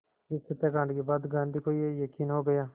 इस हत्याकांड के बाद गांधी को ये यक़ीन हो गया